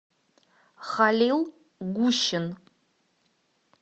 халил гущин